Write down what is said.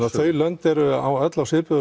þau lönd eru öll á svipuðu